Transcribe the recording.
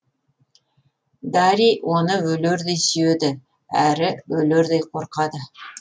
дарий оны өлердей сүйеді әрі өлердей қорқады